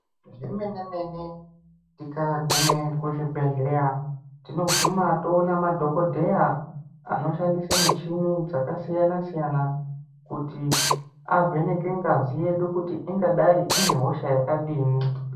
Zvemene zvemene tikaguma kuzvibhedhlera, tinoguma toona madhokodheya anoshandisa mishini yakasiyana siyana kuti avheneke ngazi yedu kuti ingadayi ine hosha yakadini.